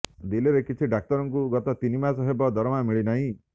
ଦିଲ୍ଲୀରେ କିଛି ଡାକ୍ତରଙ୍କୁ ଗତ ତିନି ମାସ ହେବ ଦରମା ମିଳିନାହିଁ